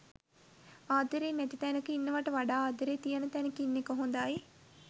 ආදරේ නැති තැනක ඉන්නවට වඩා ආදරේ තියෙන තැනක ඉන්න එක හොඳයි